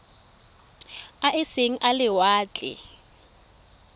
a e seng a lewatle